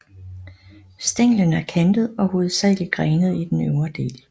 Stænglen er kantet og hovedsagelig grenet i den øvre del